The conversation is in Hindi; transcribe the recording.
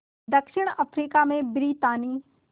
दक्षिण अफ्रीका में ब्रितानी